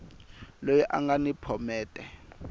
loyi a nga ni phomete